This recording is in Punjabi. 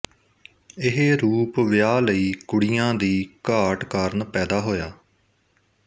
ਇਹ ਰੂਪ ਵਿਆਹ ਲਈ ਕੁੜੀਆਂ ਦੀ ਘਾਟ ਕਾਰਨ ਪੈਦਾ ਹੋਇਆ